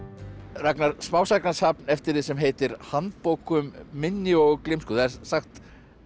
Ragnar smásagnasafn eftir þig sem heitir handbók um minni og gleymsku það er sagt